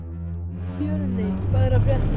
Björney, hvað er að frétta?